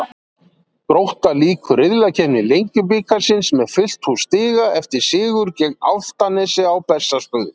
Grótta lýkur riðlakeppni Lengjubikarsins með fullt hús stiga eftir sigur gegn Álftanesi á Bessastöðum.